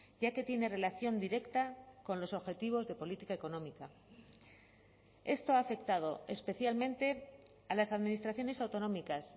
ya que tiene relación directa con los objetivos de política económica esto ha afectado especialmente a las administraciones autonómicas